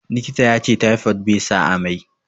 Likita yace taifod be sa amai